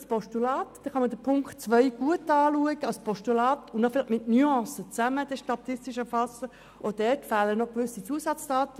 Lassen wir das die Profis gemeinsam etwas erarbeiten.